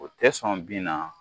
O tɛ sɔn bin na